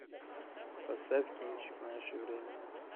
поставь кинчик наше время